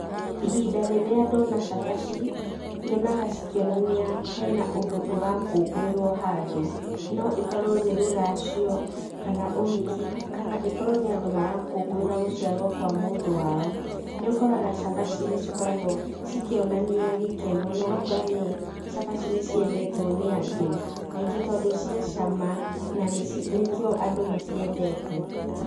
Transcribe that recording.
Ihinda rĩrĩa ndona cabaci, nyonaga cikĩonania hena ũndũ ũrakũngũĩrwo handũ, no ĩkorwo nĩ rũracio, kana ũhiki, kana ĩkorwo nĩ andũ marakũngũĩra gũciarwo kwa mũndũ wao. Nĩũkoraga cabaci nĩcikoragwo cikĩonania gĩkeno, na ũgakora nĩ cabaci nĩciendetwo nĩ andũ, aingĩ tondũ ciĩ cama, na nĩkĩo andũ maciendete.